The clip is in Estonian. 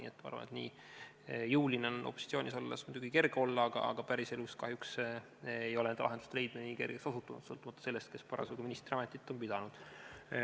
Seega ma arvan, et nii jõuline on opositsioonis olles muidugi kerge olla, aga päriselus kahjuks ei ole lahenduse leidmine nii kergeks osutunud, sõltumata sellest, kes parasjagu ministriametit peab.